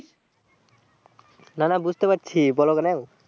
না না বুঝতে পারছি বোলো কেনে